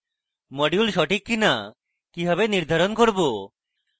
module সঠিক কিনা কিভাবে নির্ধারণ করব